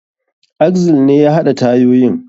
Axle ne ya haɗa tayoyin.